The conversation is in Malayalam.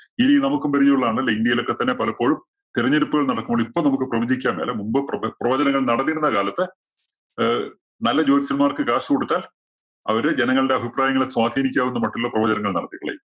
ഇത് നമുക്കും പരിചയമുള്ളതാണ് അല്ലേ? ഇന്ത്യയിലൊക്കെ തന്നെ പലപ്പോഴും തെരഞ്ഞടുപ്പ് നടക്കുമ്പോള്‍ ഇപ്പം നമ്മക്ക് പ്രവചിക്കാം അല്ല മുമ്പ് പ്രവ~പ്രവചനങ്ങള്‍ നടന്നിരുന്ന കാലത്ത് ഏഹ് നല്ല ജ്യോത്സ്യമാര്‍ക്ക് കാശ് കൊടുത്താല്‍ അവര് ജനങ്ങളുടെ അഭിപ്രായങ്ങളെ സ്വാധിനിക്കാവുന്ന മട്ടില്ലുള്ള പ്രവചനങ്ങള്‍ നടത്തിക്കളയും.